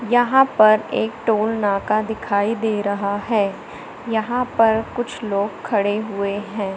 यहां पर एक टोल नाका दिखाई दे रहा है यहां पर कुछ लोग खड़े हुए हैं।